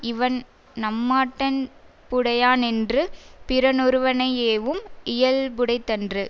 இவன் நம்மாட்டன் புடையானென்று பிறனொருவனையேவும் இயல்புடைத்தன்று